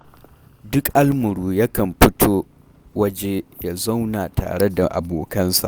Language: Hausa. Duk almuru yakan fito waje ya zauna tare da abokansa